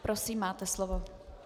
Prosím, máte slovo.